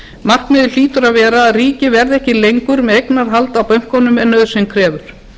markmiðið hlýtur að vera að ríkið verði ekki lengur með eignarhald á bönkunum en nauðsyn krefur